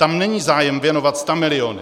Tam není zájem věnovat stamiliony.